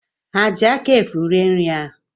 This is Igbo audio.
Ha ji aka efu rie nri ahụ?